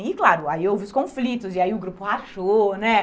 E claro, aí houve os conflitos e aí o grupo rachou, né?